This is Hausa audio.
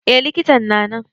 Eh likitan na nan.